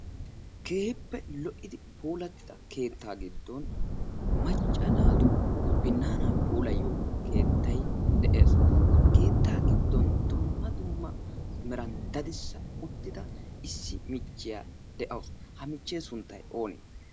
keeheppe lo77idi poolattida keettaa giddon macca naatu binnaanaa poolayyo keettai de7ees. ha keettaa giddon dumma dumma meran dadissa uttida issi michchiyaa de7awusu. ha michchee sunttai oonee?